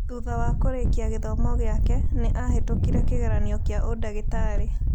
Thutha wa kũrĩkia gĩthomo gĩake, nĩ aahĩtũkire kĩgeranio kĩa ũndagĩtarĩ.